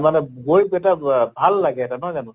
মানে গৈ এটা ব ভাল লাগে নহয় জানো?